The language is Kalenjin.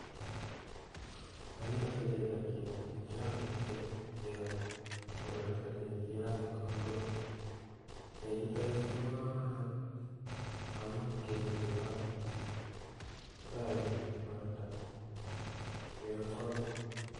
Agere sotet ak chego. Kirongyin chego chebunu sotet kombok. Chechuton chuu kobo kamanut amun ngeluu chego kotoreti en borto, chego kwonyin